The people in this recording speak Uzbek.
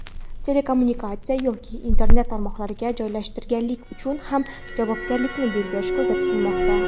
telekommunikatsiya yoki Internet tarmoqlariga joylashtirganlik uchun ham javobgarlikni belgilash ko‘zda tutilmoqda.